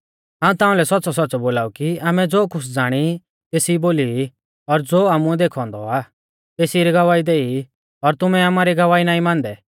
हाऊं ताउंलै सौच़्च़ौसौच़्च़ौ बोलाऊ कि आमै ज़ो कुछ़ ज़ाणी ई तेसी बोली ई और ज़ो आमुऐ देखौ औन्दौ आ तेसी री गवाही देई ई और तुमै आमारी गवाही नाईं मानदै